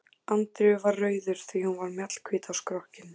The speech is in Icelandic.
Andreu var rauður því hún var mjallahvít á skrokkinn.